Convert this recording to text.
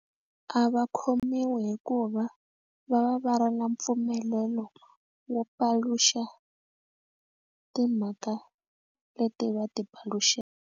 A va khomiwi hikuva va va va ri na mpfumelelo wo paluxa timhaka leti va ti paluxa.